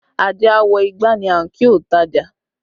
Ajé a Wọ́ igbá ni a ń kí ontaja